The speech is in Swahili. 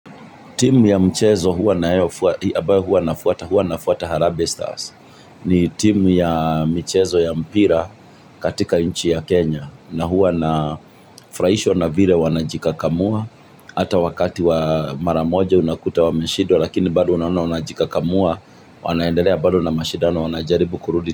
Timu ya mchezo huwa nayo huwa na fuata Harambee Stars ni timu ya mchezo ya mpira katika nchi ya Kenya na huwa na furahishwa na vire wanajikakamua. Ata wakati wa maramoja unakuta wameshidwa lakini bado unaoana wanajikakamua wanaendelea bado na mashidano wanajaribu kurudi.